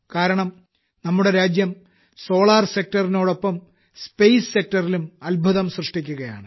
കാരണം നമ്മുടെ രാജ്യം സോളാർ Sectortനാടൊപ്പം സ്പേസ് Sectorലും അത്ഭുതം സൃഷ്ടിക്കുകയാണ്